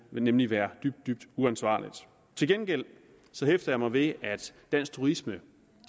nemlig være dybt dybt uansvarligt til gengæld hæfter jeg mig ved at dansk turisme